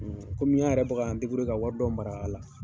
Kɔmi an yɛrɛ bi to k'an ka wari dɔ mara a la.